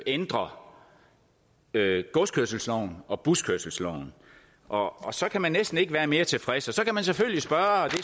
ændrer godskørselsloven og buskørselsloven og så kan man næsten ikke være mere tilfreds så kan man selvfølgelig spørge og